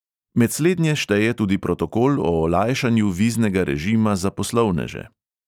Med slednje šteje tudi protokol o olajšanju viznega režima za poslovneže.